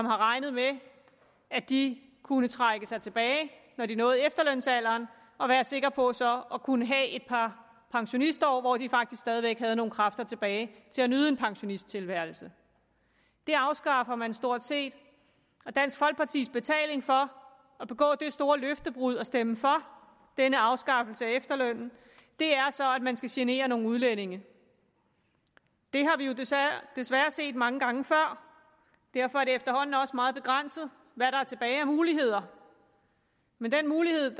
regnet med at de kunne trække sig tilbage når de nåede efterlønsalderen og være sikre på så at kunne have et par pensionistår hvor de faktisk stadig væk havde nogle kræfter tilbage til at nyde en pensionisttilværelse det afskaffer man stort set og dansk folkepartis betaling for at begå det store løftebrud og stemme for denne afskaffelse af efterlønnen er så at man skal genere nogle udlændinge det har vi jo desværre set mange gange før og derfor er det efterhånden også meget begrænset hvad der er tilbage af muligheder men den mulighed